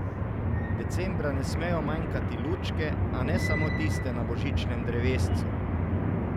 Decembra ne smejo manjkati lučke, a ne samo tiste na božičnem drevescu.